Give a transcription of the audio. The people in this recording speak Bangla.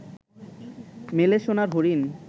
মেলে সোনার হরিণ